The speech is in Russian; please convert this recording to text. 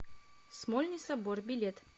смольный собор билет